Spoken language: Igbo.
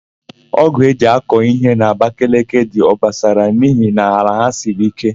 Ọ́gụ̀ e ji akọ íhé n'Abakeleke dị obosara n'ihi na ala ha siri íké.